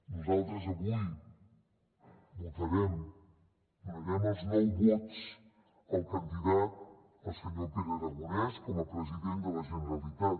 nosaltres avui votarem donarem els nou vots al candidat al senyor pere aragonès com a president de la generalitat